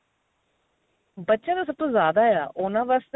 ਬੱਚਿਆ ਦਾ ਸਭ ਤੋਂ ਜਿਆਦਾ ਆ ਉਹਨਾ ਵਾਸਤੇ